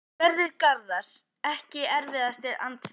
Sverrir Garðars Ekki erfiðasti andstæðingur?